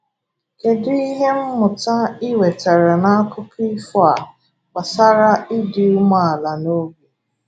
Kedu ihe mmụta I nwetara na akụkọ ifọ a gbasara ịdị umeala n’obi?